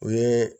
U ye